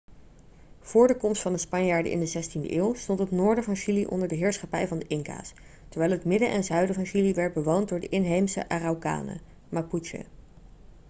voor de komst van de spanjaarden in de 16e eeuw stond het noorden van chili onder de heerschappij van de inca's terwijl het midden en zuiden van chili werd bewoond door de inheemse araucanen mapuche